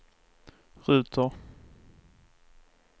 ruter